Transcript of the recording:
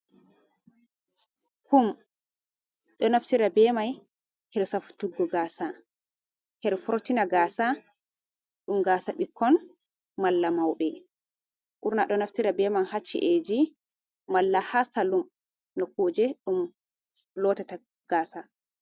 Kum do naftira bemai her safutugo gaasa, her fortina gaasa, ɗum gaasa ɓikkon malla mauɓe, ɓurna ɗo naftira be mai haa ci’eji, malla haa salun, kuje ɗum lotata gaasa.